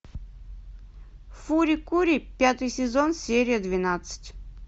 фури кури пятый сезон серия двенадцать